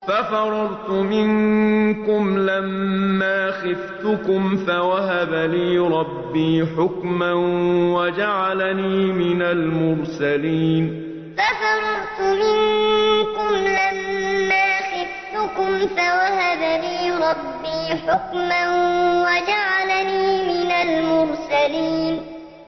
فَفَرَرْتُ مِنكُمْ لَمَّا خِفْتُكُمْ فَوَهَبَ لِي رَبِّي حُكْمًا وَجَعَلَنِي مِنَ الْمُرْسَلِينَ فَفَرَرْتُ مِنكُمْ لَمَّا خِفْتُكُمْ فَوَهَبَ لِي رَبِّي حُكْمًا وَجَعَلَنِي مِنَ الْمُرْسَلِينَ